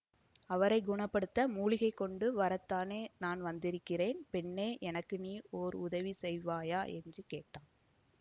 அவரை குண படுத்த மூலிகை கொண்டு வரத்தானே நான் வந்திருக்கிறேன் பெண்ணே எனக்கு நீ ஓர் உதவி செய்வாயா என்று கேட்டான்